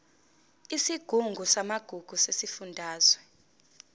isigungu samagugu sesifundazwe